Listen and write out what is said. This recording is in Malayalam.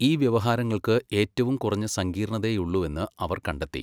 ഈ വ്യവഹാരങ്ങൾക്ക് ഏറ്റവും കുറഞ്ഞ സങ്കീർണ്ണതയേയുള്ളുവെന്ന് അവർ കണ്ടെത്തി.